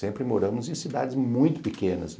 Sempre moramos em cidades muito pequenas.